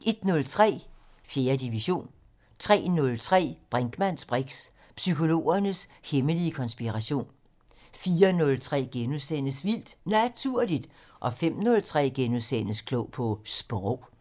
* 01:03: 4. division 03:03: Brinkmanns briks: Psykologernes hemmelige konspiration 04:03: Vildt Naturligt * 05:03: Klog på Sprog *